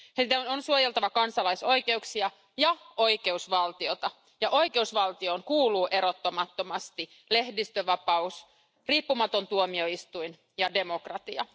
Niiden on suojeltava kansalaisoikeuksia ja oikeusvaltiota ja oikeusvaltioon kuuluu erottamattomasti lehdistönvapaus, riippumaton tuomioistuin ja demokratia.